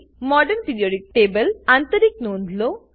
modern periodic table આંતરિકની નોંધ લો